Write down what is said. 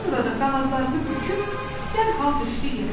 Sonra da qanadlarını büküb dərhal düşdü yerə.